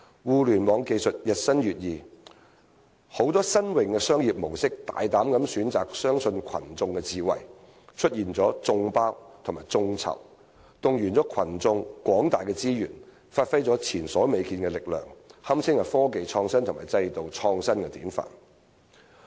互聯網技術日新月異，許多新穎的商業模式大膽地選擇相信群眾智慧，出現了"眾包"與"眾籌"，動員群眾廣大的資源，發揮前所未見的力量，堪稱科技創新與制度創新的典範。